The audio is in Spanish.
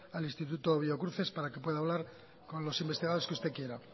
al instituto biocruces para que pueda hablar con los investigadores que usted quiera